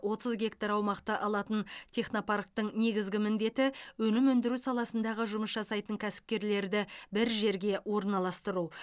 отыз гектар аумақты алатын технопарктің негізгі міндеті өнім өндіру саласындағы жұмыс жасайтын кәсіпкерлерді бір жерге орналастыру